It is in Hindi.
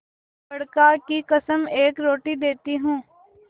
बड़का की कसम एक रोटी देती हूँ